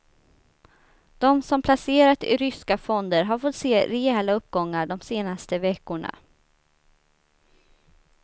De som placerat i ryska fonder har fått se rejäla uppgångar de senaste veckorna.